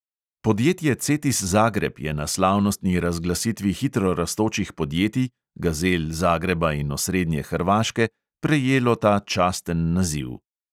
Podjetje cetis zagreb je na slavnostni razglasitvi hitro rastočih podjetij – gazel zagreba in osrednje hrvaške – prejelo ta časten naziv.